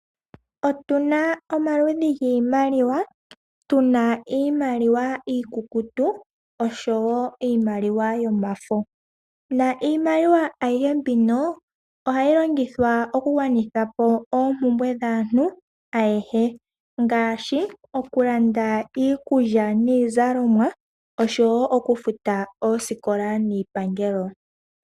Otuna omaludhi giimaliwa, tuna iimaliwa iikukutu oshowo iimaliwa yomafo niimaliwa ayihe mbino ohayi longithwa oku gwanitha po oompumbwe dhaantu ayehe ngaashi oku landa iikulya niizalomwa oshowo okufuta oosikola niipangelo.